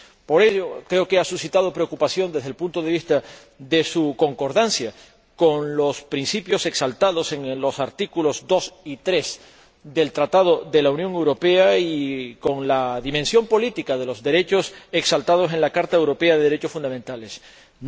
Por ello, creo que ha suscitado preocupación, desde el punto de vista de su concordancia con los principios exaltados en los artículos 2 y 3 del Tratado de la Unión Europea y con la dimensión política de los derechos exaltados en la Carta de los Derechos Fundamentales de la Unión Europea.